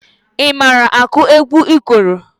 Ị mara akụ egwu ikoro?